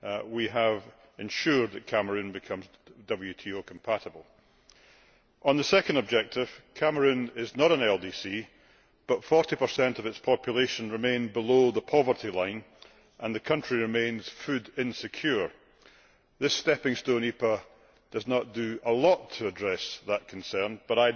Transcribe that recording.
we have ensured that Cameroon becomes WTO compatible. On the second objective, Cameroon is not a least developed country but 40 of its population remain below the poverty line and the country remains food insecure. This stepping stone EPA does not do a lot to address that concern, but